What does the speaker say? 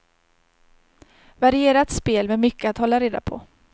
Varierat spel med mycket att hålla reda på.